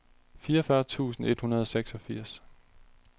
fireogfyrre tusind et hundrede og seksogfirs